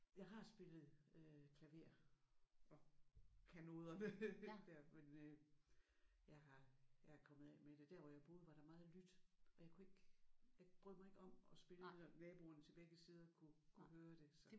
Jeg har spillet øh klaver og kan noderne der. Men øh jeg har jeg er kommet af med det. Der hvor jeg boede var der meget lydt og jeg kunne ikke jeg brød mig ikke om at spille når naboerne til begge sider kunne kunne høre det så